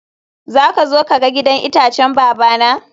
zaka zo ka ga gidan itacen babana?